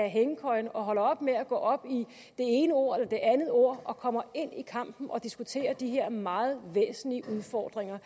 hængekøjen og holder op med at gå op i det ene ord eller det andet ord og kommer ind i kampen og diskuterer de her meget væsentlige udfordringer